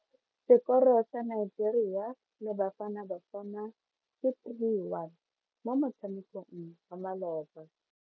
Sekoro sa Nigeria le Bafanabafana ke 3-1 mo motshamekong wa maloba.